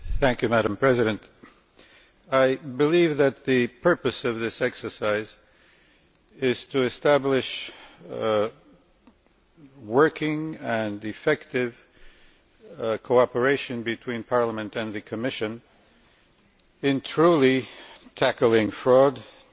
Madam President, I believe that the purpose of this exercise is to establish working and effective cooperation between Parliament and the Commission in truly tackling fraud and